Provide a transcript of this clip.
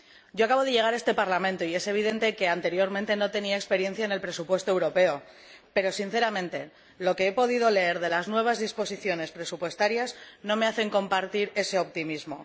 Yo acabo de llegar a este Parlamento y es evidente que no tenía experiencia en relación con el presupuesto europeo pero, sinceramente, lo que he podido leer de las nuevas disposiciones presupuestarias no me hace compartir ese optimismo.